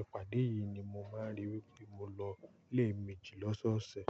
ìpàdé yìí ni mo máa ń rí wípé mo lọ lé méjì lọ́sọ̀ọ̀sẹ̀.